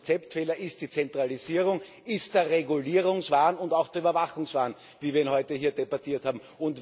Und der Konzeptfehler ist die Zentralisierung, ist der Regulierungswahn und auch der Überwachungswahn, wie wir ihn heute hier debattiert haben.